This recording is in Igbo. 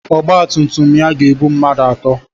Ọgba tum tum ya ga-ebu mmadụ atọ.